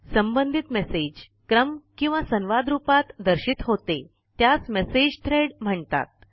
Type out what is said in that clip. सबंधित मेसेज क्रम किंवा संवाद रुपात दर्शित होते त्यास मेसेज थ्रेड म्हणतात